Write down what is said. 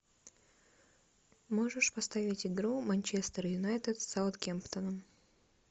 можешь поставить игру манчестер юнайтед с саутгемптоном